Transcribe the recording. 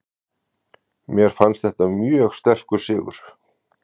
Mér fannst þetta mjög sterkur sigur.